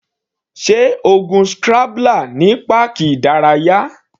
Sé o gun scrambler ní páàkì ìdárayá?